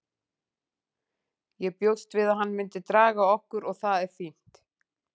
Ég bjóst við að hann myndi draga okkur og það er fínt.